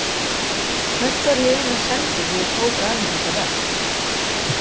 Hvert var ég eiginlega sendur þegar ég tók að mér þetta verk?